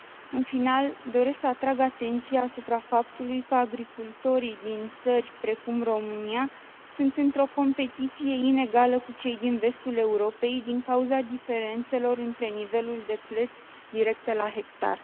În final, doresc să atrag atenția asupra faptului că agricultorii din țări precum România sunt într o competiție inegală cu cei din vestul Europei, din cauza diferențelor între nivelul de plăți directe la hectar.